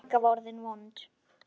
Magga var orðin vond.